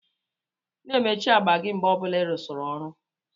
Na-emechi agba gi mgbe ọbula irusiri ọrụ